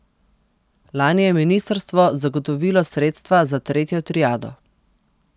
Lani je ministrstvo zagotovilo sredstva za tretjo triado.